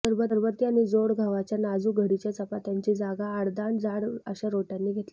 सरबती आणि जोड गव्हाच्या नाजूक घडीच्या चपात्यांची जागा आडदांड जाड अशा रोट्यांनी घेतली